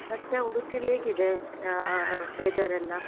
ಮತ್ತೆ ಉಡುಪಿಲಿ ಹೇಗ್ ಇದೆ? ಆ ಆಹ್ weather ಎಲ್ಲ?